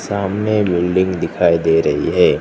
सामने बिल्डिंग दिखाई दे रही है।